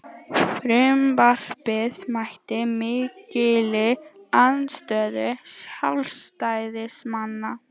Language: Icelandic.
Frumvarpið mætti mikilli andstöðu sjálfstæðismanna